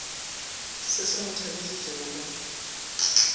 se se mo tšhabišitšego ka